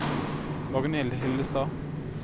Magnhild Hillestad